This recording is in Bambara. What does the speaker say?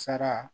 Sara